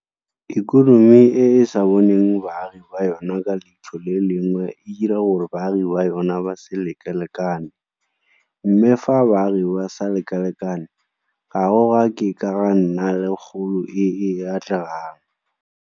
Ikonomi e e sa boneng baagi ba yona ka leitlho le le lengwe e dira gore baagi ba yona ba se lekalekane, mme fa baagi ba sa lekalekane ga go a ke ga nna le kgolo e e atlegang.